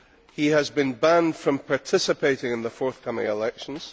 He has been banned from participating in the forthcoming elections.